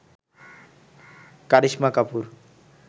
Karisma Kapoor